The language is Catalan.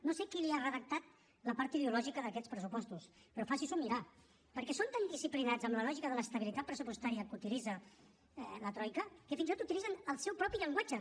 no sé qui li ha redactat la part ideològica d’aquests pressupostos però faci s’ho mirar perquè són tan disciplinats amb la lògica de l’estabilitat pressupostària que utilitza la troica que fins i tot utilitzen el seu propi llenguatge